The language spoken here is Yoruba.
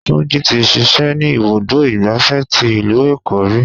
Túnjí tí ṣíṣe ni ibùdó igbàfẹ́ tí ìlú Èkó ríi.